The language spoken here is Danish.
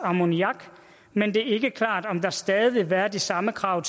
ammoniak men det er ikke klart om der stadig vil være de samme krav